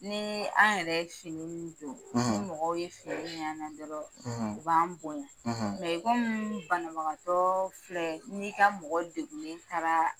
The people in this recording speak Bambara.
Ni an yɛrɛ ye fini ninnu don ni mɔgɔw ye fini y'an na dɔrɔn u b'an bonya i komi banabagatɔ filɛ n'i ka mɔgɔ degulen taara